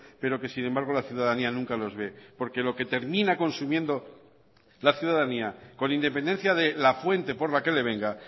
pero que sin embargo la ciudadanía nunca los ve porque lo que termina consumiendo la ciudadanía con independencia de la fuente por la que le venga